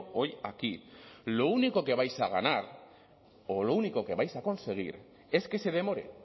hoy aquí lo único que vais a ganar o lo único que vais a conseguir es que se demore